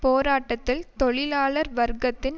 போராட்டத்தில் தொழிலாளர் வர்க்கத்தின்